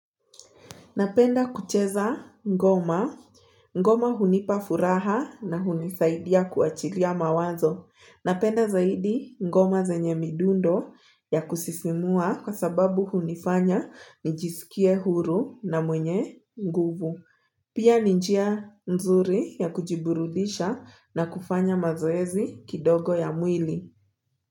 Napenda kucheza ngoma. Ngoma hunipa furaha na hunisaidia kuachilia mawazo. Napenda zaidi ngoma zenye midundo ya kusisimua kwa sababu hunifanya nijisikie huru na mwenye nguvu. Pia ni njia nzuri ya kujiburudisha na kufanya mazoezi kidogo ya mwili.